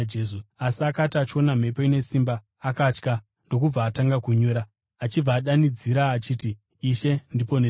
Asi akati achiona mhepo ine simba, akatya, ndokubva atanga kunyura, achibva adanidzira achiti, “Ishe, ndiponesei!”